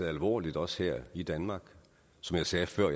alvorligt også her i danmark som jeg sagde før